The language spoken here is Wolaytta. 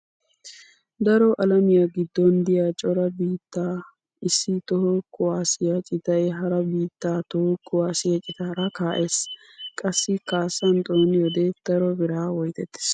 Daro alamiya giddon diya cora biittan issi toho kuwaassiya citay hara biittaa toho kuwaassiya citaara kaa'ees. Qassi kaassan xooniyode daro biraa woytettees.